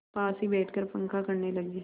पास ही बैठकर पंखा करने लगी